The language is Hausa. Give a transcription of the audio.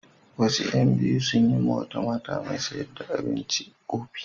Wasu ƴan biyu sun yi wa wata mata mai sayar da abinci ƙofi.